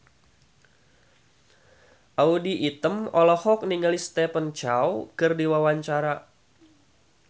Audy Item olohok ningali Stephen Chow keur diwawancara